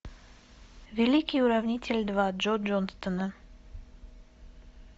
великий уравнитель два джо джонстона